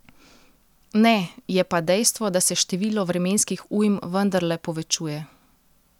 Ne, je pa dejstvo, da se število vremenskih ujm vendarle povečuje.